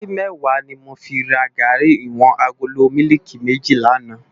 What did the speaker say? Múri mèwá ni mó fi rá gàrí iwòn àgóló mìlíkí mèjí làná